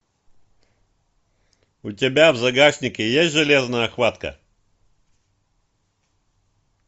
у тебя в загашнике есть железная хватка